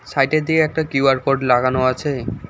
সাইটের দিকে Q R code লাগানো আছে।